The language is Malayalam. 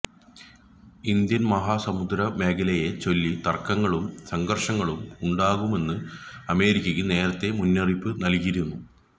ഇന്ത്യന് മഹാസമുദ്ര മേഖലയെ ചൊല്ലി തര്ക്കങ്ങളും സംഘര്ഷങ്ങളും ഉണ്ടാകുമെന്ന് അമേരിക്ക് നേരത്തെ മുന്നറിയിപ്പ് നല്കിയിരുന്നു